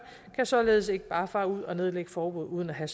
kan således ikke bare fare ud og nedlægge forbud uden at have